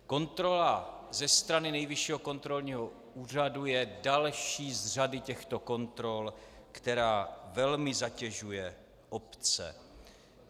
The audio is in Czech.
Kontrola ze strany Nejvyššího kontrolního úřadu je další z řady těchto kontrol, která velmi zatěžuje obce.